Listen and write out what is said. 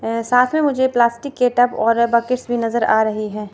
ए साथ में मुझे प्लास्टिक के टब और बकेट्स भी नजर आ रही है।